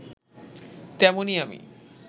তেমনি আমি